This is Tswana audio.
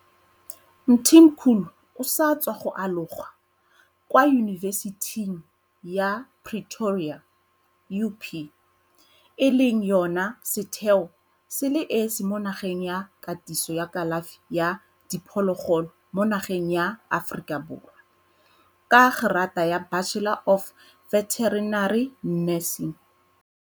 Mthimkhulu o sa tswa go aloga kwa Yunibesithing ya Pretoria, UP, e leng yona setheo se le esi mo nageng sa katiso ya kalafi ya diphologolo mo nageng ya Aforika Borwa, ka gerata ya Bachelor of Veterinary Nursing.